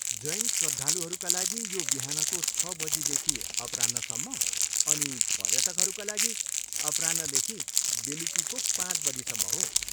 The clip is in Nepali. जैन श्रद्धालुहरूका लागि यो बिहानको छ बजीदेखि अपराह्नसम्म अनि पर्यटकहरूका लागि अपराह्नदेखि बेलुकीको पाँच बजीसम्म हो।